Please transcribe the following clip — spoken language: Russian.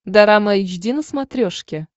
дорама эйч ди на смотрешке